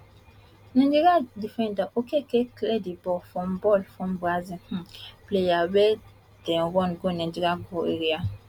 nigeria defender okeke clear di ball from ball from brazil um player wey dey run go nigeria goal area